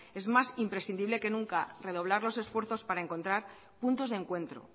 es más imprescindible que nunca redoblar los esfuerzos para encontrar puntos de encuentro